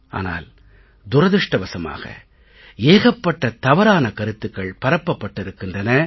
ஆனால் துரதிர்ஷ்டவசமாக ஏகப்பட்ட தவறான கருத்துக்கள் பரப்பப்பட்டிருக்கின்றன